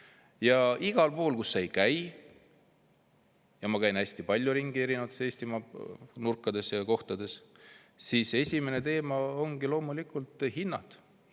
Ja kus ma ka ei käi – ma käin hästi palju ringi erinevates Eestimaa nurkades ja kohtades –, igal pool ongi esimene teema loomulikult hinnad.